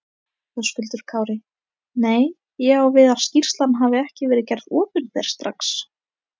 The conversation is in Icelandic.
Höskuldur Kári: Nei, ég á við að skýrslan hafi ekki verið gerð opinber strax?